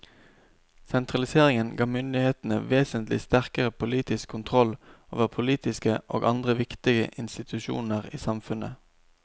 Sentraliseringen ga myndighetene vesentlig sterkere politisk kontroll over politiske og andre viktige institusjoner i samfunnet.